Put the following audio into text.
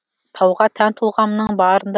тауға тән тұлғамның барында